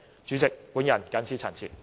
主席，我謹此陳辭。